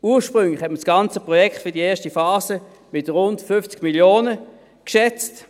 Ursprünglich hat man das ganze Projekt für die erste Phase mit rund 50 Mio. Franken geschätzt.